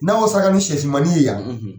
N'an y'o sanga ni sɛsimannin ye yan